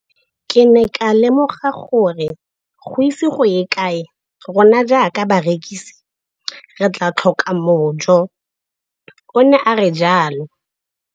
Ke ne ka lemoga gore go ise go ye kae rona jaaka barekise re tla tlhoka mojo, o ne a re jalo.